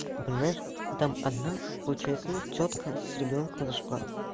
понимаешь там одна получается тётка с ребёнком зашла